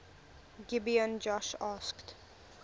gibeon joshua asked